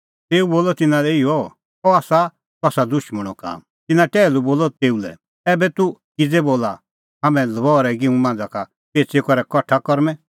तेऊ बोलअ तिन्नां लै इहअ अह आसा कसा दुशमणो काम तिन्नैं टैहलू बोलअ तेऊ लै ऐबै तूह किज़ै बोला हाम्हैं लबहरै गिंहूं मांझ़ा का पेच़ी करै कठा करूंमैं